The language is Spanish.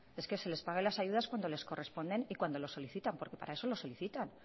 es que se les pague las ayudas cuando les corresponden y cuando lo solicitan porque para eso lo solicitan